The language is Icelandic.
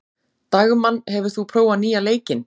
Dagmann, hefur þú prófað nýja leikinn?